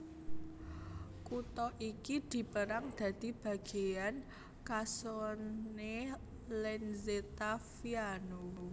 Kutha iki dipérang dadi bagéan Casone Lenzetta Viano